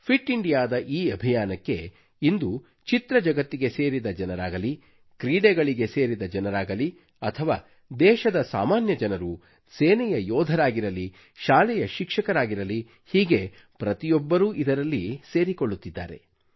fit ಇಂಡಿಯಾದ ಈ ಅಭಿಯಾನಕ್ಕೆ ಇಂದು ಚಿತ್ರಜಗತ್ತಿಗೆ ಸೇರಿದ ಜನರಾಗಲಿ ಕ್ರೀಡೆಗಳಿಗೆ ಸೇರಿದ ಜನರಾಗಲಿ ಅಥವಾ ದೇಶದ ಸಾಮಾನ್ಯ ಜನರು ಸೇನೆಯ ಯೋಧರಾಗಿರಲಿ ಶಾಲಾ ಶಿಕ್ಷಕರಾಗಿರಲಿ ಹೀಗೆ ಪ್ರತಿಯೊಬ್ಬರೂ ಇದರಲ್ಲಿ ಸೇರಿಕೊಳ್ಳುತ್ತಿದ್ದಾರೆ